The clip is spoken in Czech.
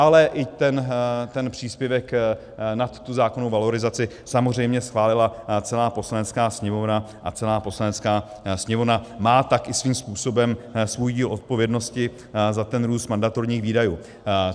Ale i ten příspěvek nad tu zákonnou valorizaci samozřejmě schválila celá Poslanecká sněmovna a celá Poslanecká sněmovna má tak i svým způsobem svůj díl odpovědnosti za ten růst mandatorních výdajů.